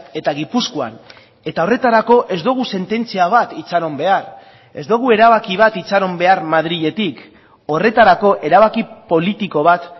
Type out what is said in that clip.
eta gipuzkoan eta horretarako ez dugu sententzia bat itxaron behar ez dugu erabaki bat itxaron behar madriletik horretarako erabaki politiko bat